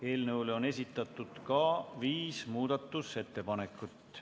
Eelnõu kohta on esitatud viis muudatusettepanekut.